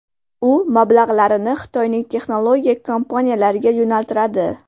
U mablag‘larini Xitoyning texnologiya kompaniyalariga yo‘naltiradi.